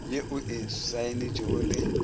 ye o e saenetšego le